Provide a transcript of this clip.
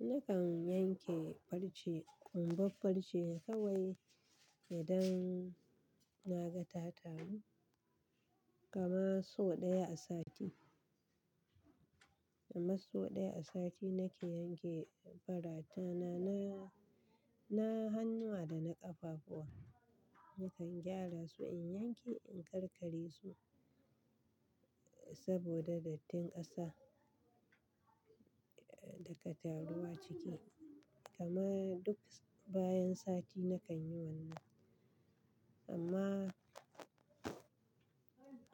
Nakan yanke farce, um, babban farce kawai idan na ga ta taru. Kamar sau ɗaya a sati, kamar sau ɗaya a sati nake yanke faratana na, na hannuwa da na ƙafafuwa. Nakan gyara su in yanke, in karkare su saboda dattin ƙasa da kataruwa ciki. Kama duk bayan sati nakan yi wannan. Amma